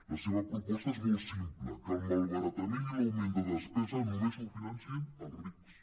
la seva proposta és molt simple que el malbara·tament i l’augment de despesa només el financin els rics